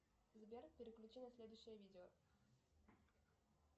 сбер переключи на следующее видео